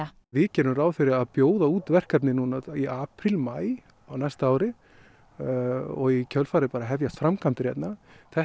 við gerum ráð fyrir að bjóða út verkefnið núna í apríl maí á næsta ári og í kjölfarið hefjast framkvæmdir hérna þetta